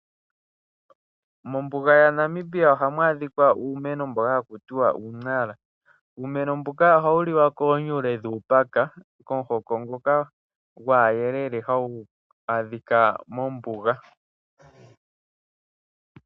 Mombuga yaNamibia ohamu adhika uumeno mboka haku tiwa uuiNara. Uumeno mbuka ohawu liwa koonyule dhuupaka, komukoho ngoka gwaayelele hagu adhika mombuga.